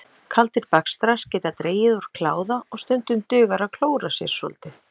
Kaldir bakstrar geta dregið úr kláða og stundum dugar að klóra sér svolítið.